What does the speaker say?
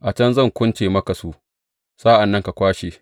A can zan kunce maka su, sa’an nan ka kwashe.